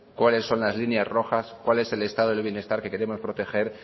cuáles son las líneas rojas cuál es el estado del bienestar que queremos proteger